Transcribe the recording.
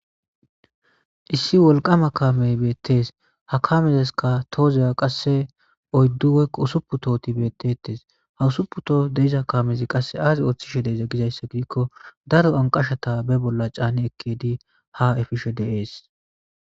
Issi wolqama kaamey beetes ha kaamezaska tohoza oyddu woyko usuppun tohoy beetetes ha ussupu tohoy de7iza kaamezi qasse aazi ooththize giiko daro anqashata ba bolla caani ekiyidi ha efishe de7ees.